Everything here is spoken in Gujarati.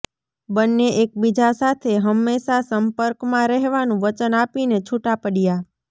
બંને એકબીજાં સાથે હંમેશા સંપર્કમાં રહેવાનું વચન આપીને છૂટાં પડ્યાં